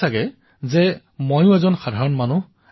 কিন্তু আপোনালোকে জানে যে মই আপোনালোকৰ দৰেই এজন সাধাৰণ মানুহ